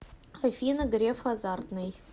афина греф азартный